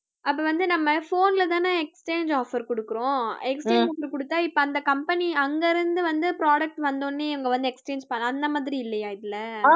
அப்ப வந்து நம்ம phone லதானே exchange offer கொடுக்கிறோம் exchange கொடுத்தா இப்ப அந்த company அங்க இருந்து வந்து products வந்த உடனே இவங்க வந்து exchange பண்ணலாம் அந்த மாதிரி இல்லையா இதுல